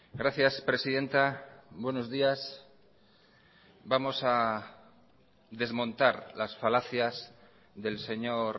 gracias presidenta buenos días vamos a desmontar las falacias del señor